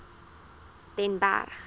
den berg